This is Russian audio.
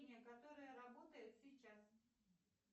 которая работает сейчас